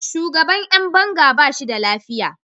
Shugaban ’yan banga ba shi da lafiya.